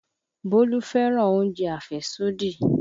Bólú fẹ́ràn oúnjẹ àfẹ́sódì